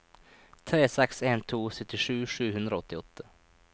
tre seks en to syttisju sju hundre og åttiåtte